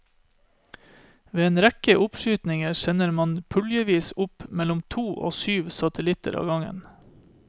Ved en rekke oppskytninger sender man puljevis opp mellom to og syv satellitter av gangen.